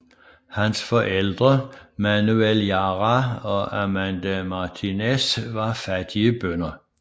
Hans forældre Manuel Jara og Amanda Martínez var fattige bønder